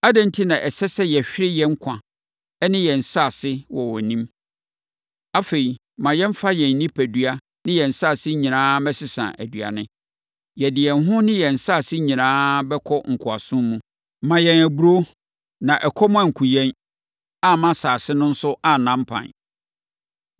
Adɛn enti na ɛsɛ sɛ yɛhwere yɛn nkwa ne yɛn nsase wɔ wʼanim! Afei, ma yɛmfa yɛn nnipadua ne yɛn nsase nyinaa mmɛsesa aduane. Yɛde yɛn ho ne yɛn nsase nyinaa bɛkɔ nkoasom mu. Ma yɛn aburoo, na ɛkɔm ankum yɛn, amma asase no nso anna mpan.”